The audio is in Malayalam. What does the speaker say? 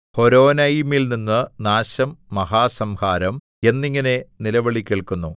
ഹോരോനയീമിൽനിന്ന് നാശം മഹാസംഹാരം എന്നിങ്ങനെ നിലവിളികേൾക്കുന്നു